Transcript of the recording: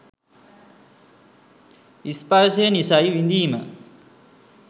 ස්පර්ශය නිසයි විඳීම